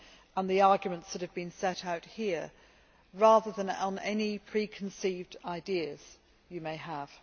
and the arguments that have been set out here, rather than on any preconceived ideas you may have.